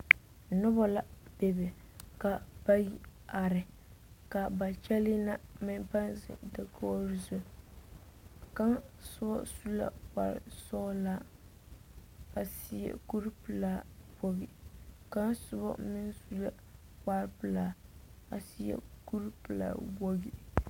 Noba la bebe ka bayi are kaa ba kyɛle na meŋ paa zeŋ dakogi zu kaŋ soba su la kpare sɔglɔ a seɛ kuri pelaa wogi kaŋ soba meŋ su la kpare pelaa a seɛ kuri pelaa wogi.